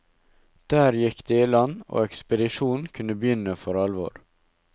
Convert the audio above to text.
Der gikk de i land, og ekspedisjonen kunne begynne for alvor.